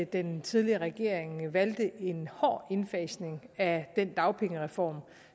den tidligere regering valgte en hård indfasning af den dagpengereform